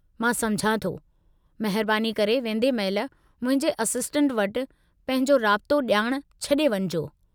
मां सम्झां थो। महिरबानी करे वेंदे महिल मुंहिंजे असिस्टेंट वटि पंहिंजो राब्तो ॼाण छॾे वञिजो।